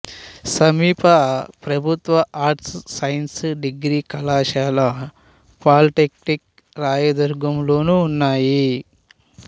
సమీప ప్రభుత్వ arts science degree కళాశాల పాలీటెక్నిక్ రాయదుర్గం లోనూ ఉన్నాయి